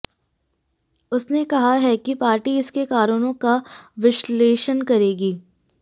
उसने कहा है कि पार्टी इसके कारणों का विश्लेषण करेगी